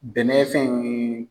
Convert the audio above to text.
Bɛnɛ fɛn yeee.